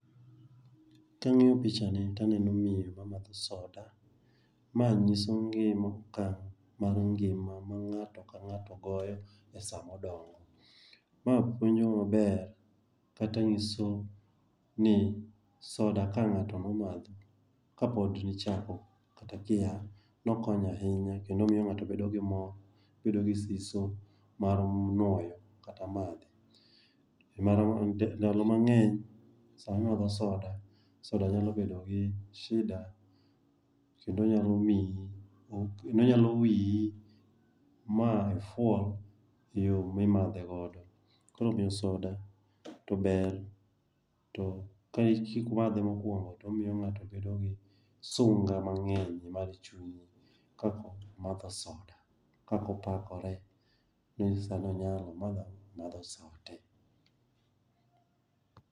Kang'iyo pichani taneno miyo mamadho soda. Ma ng'iso ngima mar ngima ma ng'ato ka ng'ato goyo e sama odongo. Ma puonjo maber kata nyiso ni soda ka ng'ato dwa madhe, ka pod ichako kata kia, nokonyo ahinya kendo omiyo ng'ato bedo gi mor, bedo gi siso mar goyo kata madhe. Ndalo mang'eny sami madho soda, soda nyalo bedo gi shida kendo nyalo wiyi ma ifwol i yo mimadhe godo. Koro omiyo soda to ber, to ka eki madhe mokwongo, to omiyo ng'ato bedo gi sunga mang'eny mar chuny kapo omadho soda, ka opakore ni sani onyalo ,omadho ang'o, omadho sote.